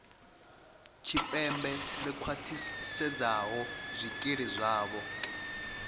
tshipembe ḽi khwaṱhisedzaho zwikili zwavho